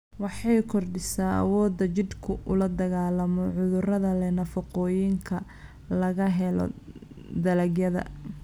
Waxay kordhisaa awoodda jidhku ula dagaallamo cudurrada leh nafaqooyinka laga helo dalagyada.